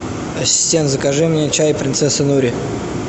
ассистент закажи мне чай принцесса нури